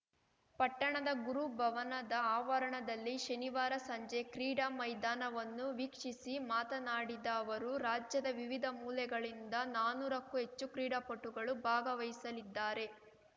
ಪಟ್ಟಣದ ಗುರು ಭವನದ ಆವರಣದಲ್ಲಿ ಶನಿವಾರ ಸಂಜೆ ಕ್ರೀಡಾ ಮೈದಾನವನ್ನು ವೀಕ್ಷಿಸಿ ಮಾತನಾಡಿದ ಅವರು ರಾಜ್ಯದ ವಿವಿಧ ಮೂಲೆಗಳಿಂದ ನಾನೂರಕ್ಕೂ ಹೆಚ್ಚು ಕ್ರೀಡಾಪಟುಗಳು ಭಾಗವಹಿಸಲಿದ್ದಾರೆ